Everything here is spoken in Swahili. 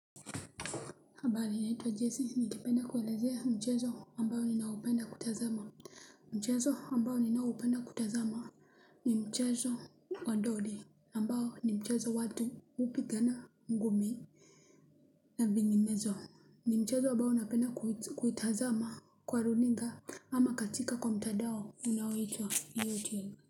Habari ninatwa jesi ningependa kuelezea mchezo ambayo ninaopenda kutazama. Mchezo ambao ninaopenda kutazama ni mchezo wa dondi ambao ni mchezo watu hupigana ngumi na vinginezo. Ni mchezo ambayo napenda kuitazama kwa runinga ama katika kwa mtandao unaoitwa youtube.